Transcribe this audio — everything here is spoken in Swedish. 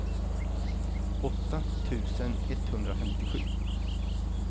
åtta tusen etthundrafemtiosju